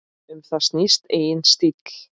Um það snýst eigin stíll.